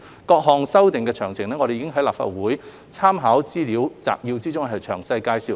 各項修訂的詳情，我們已在立法會參考資料摘要中詳細介紹。